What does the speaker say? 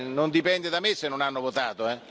Non dipende da me se non hanno votato.